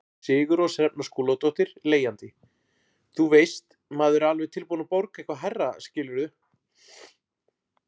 Sigurrós Hrefna Skúladóttir, leigjandi: Þú veist, maður er alveg tilbúin að borga eitthvað hærra skilurðu?